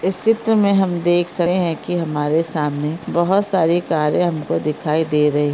इस चित्र में हम देख सकते है की हमारे सामने बहुत सारी कारे हमको दिखाई दे--